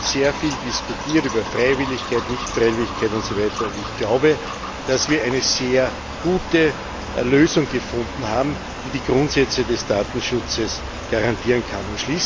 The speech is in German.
Wir haben sehr viel über Freiwilligkeit, Nichtfreiwilligkeit usw. diskutiert. Ich glaube, dass wir eine sehr gute Lösung gefunden haben, die die Grundsätze des Datenschutzes garantieren kann.